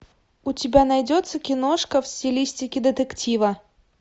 у тебя найдется киношка в стилистике детектива